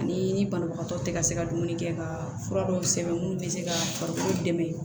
Ani ni banabagatɔ tɛ ka se ka dumuni kɛ ka fura dɔw sɛbɛn mun bɛ se ka farikolo dɛmɛ